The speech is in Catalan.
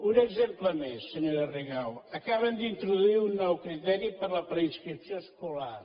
un exemple més senyora rigau acaben d’introduir un nou criteri per a la preinscripció escolar